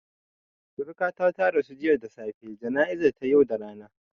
Suriƙata ta rasu jiya da safe, jana'izan ta yau da rana